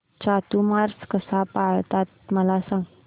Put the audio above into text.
चातुर्मास कसा पाळतात मला सांग